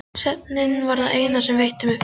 Svefninn var það eina sem veitti mér frið.